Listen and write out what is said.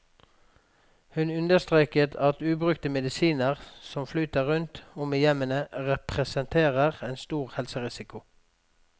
Hun understreket at ubrukte medisiner som flyter rundt om i hjemmene, representerer en stor helserisiko.